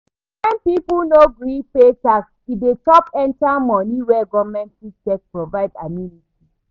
When pipo no gree pay tax e dey chop enter money wey government fit take provide amenities